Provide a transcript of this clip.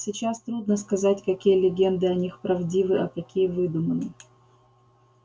сейчас трудно сказать какие легенды о них правдивы а какие выдуманы